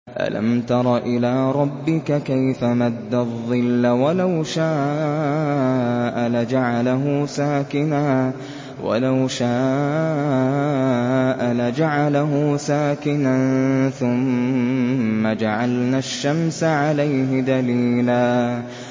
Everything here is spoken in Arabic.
أَلَمْ تَرَ إِلَىٰ رَبِّكَ كَيْفَ مَدَّ الظِّلَّ وَلَوْ شَاءَ لَجَعَلَهُ سَاكِنًا ثُمَّ جَعَلْنَا الشَّمْسَ عَلَيْهِ دَلِيلًا